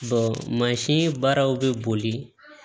mansin baaraw bɛ boli